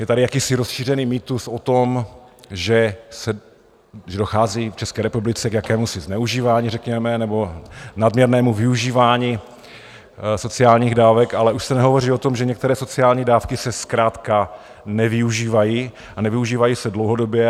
Je tady jakýsi rozšířený mýtus o tom, že dochází v České republice k jakémusi zneužívání řekněme, nebo nadměrnému využívání sociálních dávek, ale už se nehovoří o tom, že některé sociální dávky se zkrátka nevyužívají, a nevyužívají se dlouhodobě.